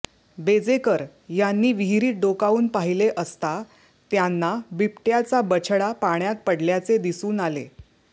बेजेकर यांनी विहिरीत डोकावून पाहिले असता त्यांना बिबट्याचा बछडा पाण्यात पडल्याचे दिसून आले